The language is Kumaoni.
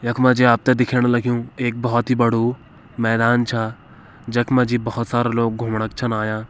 यख मजी आपते दिखेण लग्युं एक बोहोत ही बड़ु मैदान छा जख मजी बोहोत सारा लोग घूमणक छन आयां।